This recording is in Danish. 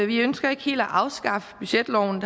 vi ønsker ikke helt at afskaffe budgetloven